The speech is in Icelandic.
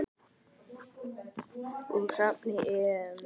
Úr safni EM.